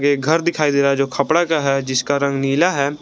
एक घर दिखाई दे रहा है जो खपड़ा का है जिसका रंग नीला है।